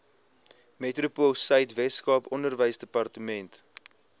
metropoolsuid weskaap onderwysdepartement